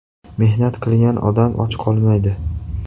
Mehnat qilgan odam och qolmaydi.